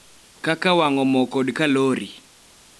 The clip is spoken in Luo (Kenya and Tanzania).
Kaka wang�o mo kod kalori .